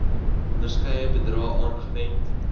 onderskeie bedrae aangewend